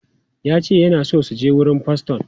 Ya ce yana so ya je wurin faston.